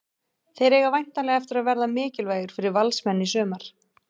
Þeir eiga væntanlega eftir að verða mikilvægir fyrir Valsmenn í sumar.